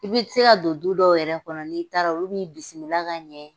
I bɛ se ka don du dɔ yɛrɛ kɔnɔ n'i taara olu b'i bisimila ka ɲɛ